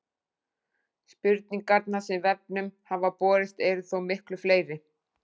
Spurningarnar sem vefnum hafa borist eru þó miklu fleiri.